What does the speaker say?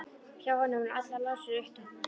Hjá honum eru allar rásir uppteknar.